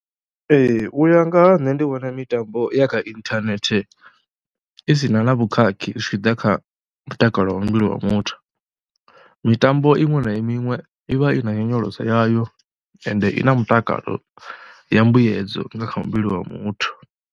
Ee u ya nga ha nṋe ndi vhona mitambo ya kha inthanethe i si na na vhukhakhi zwi tshi ḓa kha mutakalo wa muvhili wa muthu, mitambo iṅwe na iṅwe i vha i na nyonyoloso yayo ende i na mutakalo ya mbuyedza nga kha muvhili wa muthu.